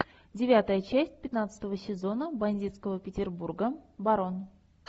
девятая часть пятнадцатого сезона бандитского петербурга барон